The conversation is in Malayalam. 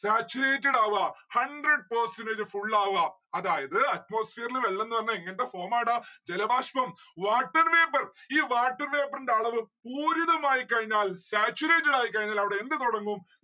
saturated ആവ hundred percentage full ആവുക. അതായത് atmosphere ല് വെള്ളം നിറഞ്ഞാ എങ്ങനത്തെ form ആട? ജലബാഷ്പം water vapour ഈ water vapour ന്റെ അളവ് പൂരിതമായി കഴിഞ്ഞാൽ saturated ആയി കഴിഞ്ഞാൽ അവിടെ എന്ത് തൊടങ്ങും?